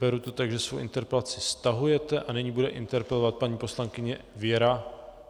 Beru to tak, že svou interpelaci stahujete, a nyní bude interpelovat paní poslankyně Věra...